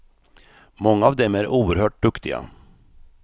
Många av dem är oerhört duktiga.